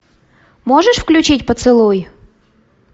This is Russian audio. можешь включить поцелуй